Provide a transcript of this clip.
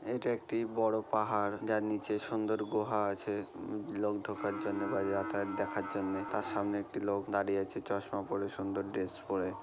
এটা একটি বড় পাহাড় যার নিচে সুন্দর গুহা আছে উম লোক ঢোকার জন্য বা যাতায়াত দেখার জন্য তার সামনে একটি লোক দাঁড়িয়ে আছে চশমা পড়ে সুন্দর ড্রেস পড়ে।